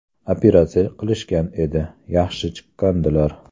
Operatsiya qilishgan edi, yaxshi chiqqandilar.